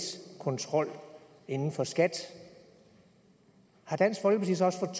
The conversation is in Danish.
kontrol inden for skat har dansk folkeparti så også